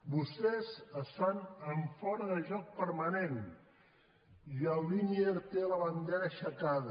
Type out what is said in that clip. vostès estan en fora de joc permanent i el linier té la bandera aixecada